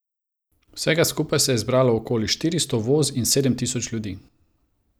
Vsega skupaj se je zbralo okoli štiristo voz in sedem tisoč ljudi.